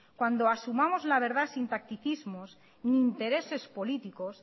cuando asumamos la verdad sin tacticismos ni intereses políticos